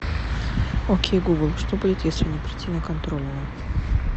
окей гугл что будет если не прийти на контрольную